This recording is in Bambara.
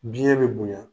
Biyɛn bɛ bonya